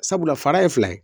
Sabula fara ye fila ye